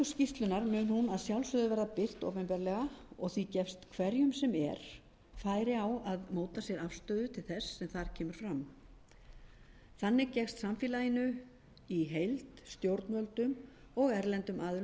sjálfsögðu verða birt opinberlega og því gefst hverjum sem er færi á að móta sér afstöðu til þess sem þar kemur fram þannig gefst samfélaginu í heild stjórnvöldum og erlendum aðilum færi á að bregðast við